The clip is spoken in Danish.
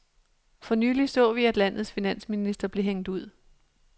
For nylig så vi, at landets finansminister blev hængt ud.